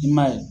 I m'a ye